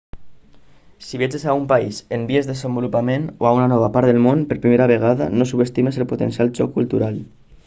si viatges a un país en vies desenvolupament o a una nova part del món per primera vegada no subestimis el potencial xoc cultural